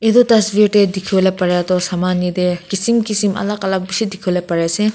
itu tasveer tey dikhiwo le pare toh saman yetey kisim kisim alak alak dikhiwo pari ase.